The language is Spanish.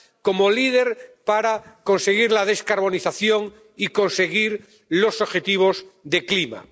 Como líder para conseguir la descarbonización y conseguir los objetivos de clima.